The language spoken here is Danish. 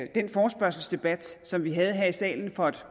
i den forespørgselsdebat som vi havde her i salen for et